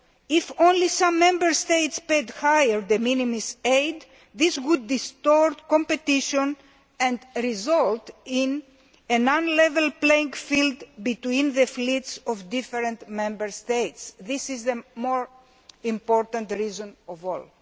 If only some Member States paid higher de minimis aid, this would distort competition and result in an uneven playing field for the fleets of different Member States. This is the most important reason of all.